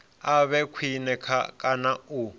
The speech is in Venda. a vhe khwine kana u